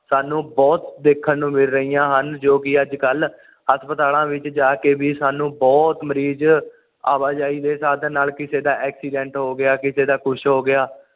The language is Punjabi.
ਸਾਨੂੰ ਬੁਹਤ ਦੇਖਣ ਨੂੰ ਮਿਲ ਰਹੀਆਂ ਹਨ ਜੋ ਕਿ ਅੱਜ ਕੱਲ ਹਸਪਤਾਲਾਂ ਵਿੱਚ ਜਾ ਕੇ ਵੀ ਸਾਨੂੰ ਬੁਹਤ ਮਰੀਜ਼ ਆਵਾਜਾਈ ਦੇ ਸਾਧਨ ਨਾਲ ਕਿਸੇ ਦਾ ਐਕਸੀਡੈਂਟ ਹੋ ਗਿਆ ਕਿਸੇ ਦਾ ਕੁਝ ਹੋ ਗਿਆ